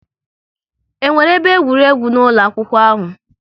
E nwere ebe egwuregwu n'ụlọ akwụkwọ ahụ?